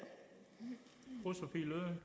er